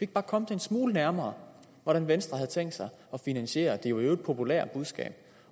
bare komme det en smule nærmere hvordan venstre havde tænkt sig at finansiere i øvrigt populære budskab